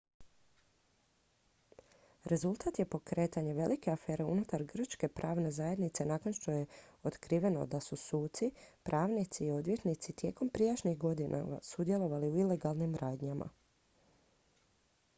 rezultat je pokretanje velike afere unutar grčke pravne zajednice nakon što je otkriveno da su suci pravnici i odvjetnici tijekom prijašnjih godina sudjelovali u ilegalnim radnjama